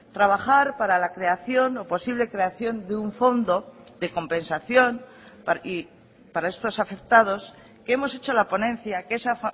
trabajar para la creación o posible creación de un fondo de compensación para estos afectados hemos hecho la ponencia que esa